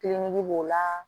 b'o la